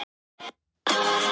Hún var eitthvað svo.